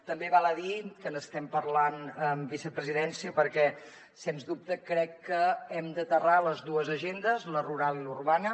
també val a dir que n’estem parlant amb vicepresidència perquè sens dubte crec que hem d’aterrar les dues agendes la rural i la urbana